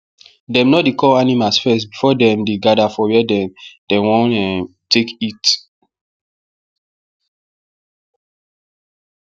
dem no dey call animals first before dem dey gather for where dem dem wan um take eat